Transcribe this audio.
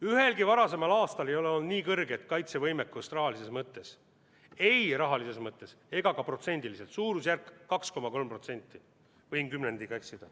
Ühelgi varasemal aastal ei ole olnud nii kõrget kaitsevõimekust ei rahalises mõttes ega ka protsendiliselt, suurusjärk on 2,3% .